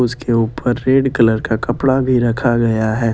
उसके ऊपर red colour का कपड़ा भी रखा गया है।